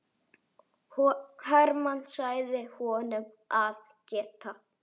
Hermann sagði honum að geta.